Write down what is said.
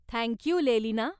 Thank you, लेलीना.